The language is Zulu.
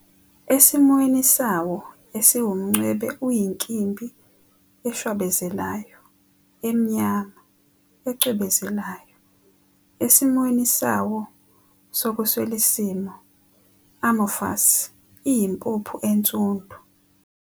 Esimweni sawo esiwumncwebe uyinkimbi eshwabezelayo, emnyama, ecwebezelayo, esimweni sawo sokuswelisimo, amorphous," iyimpuphu ensundu.